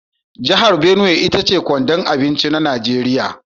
Jihar Binuwai ita ce kwandon abinci na Nigeriya.